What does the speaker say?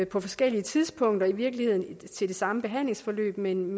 på forskellige tidspunkter i virkeligheden til det samme behandlingsforløb men